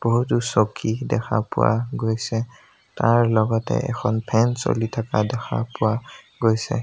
বহুতো চকী দেখা পোৱা গৈছে তাৰ লগতে এখন ফেন চলি থকা দেখা পোৱা গৈছে।